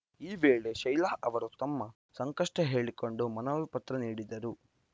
ಈ ವೇಳೆ ಶೈಲಾ ಅವರು ತಮ್ಮ ಸಂಕಷ್ಟಹೇಳಿಕೊಂಡು ಮನವಿಪತ್ರ ನೀಡಿದರು